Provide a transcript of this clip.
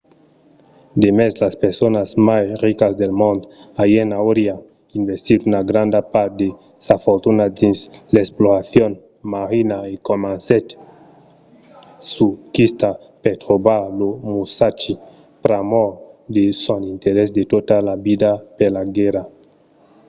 demest las personas mai ricas del mond allen auriá investit una granda part de sa fortuna dins l'exploracion marina e comencèt sa quista per trobar lo musashi pr'amor de son interès de tota la vida per la guèrra